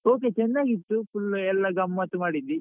Okay ಚೆನ್ನಾಗಿತ್ತು full ಎಲ್ಲ ಗಮ್ಮತ್ ಮಾಡಿದ್ವಿ.